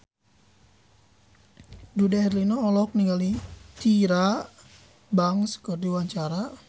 Dude Herlino olohok ningali Tyra Banks keur diwawancara